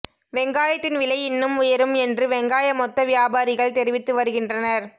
வெங்காயத்தின் விலை இன்னும் உயரும் என்று வெங்காய மொத்த வியாபாரிகள் தெரிவித்து வருகின்றனர்